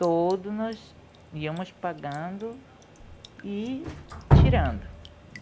Todos nós íamos pagando e tirando.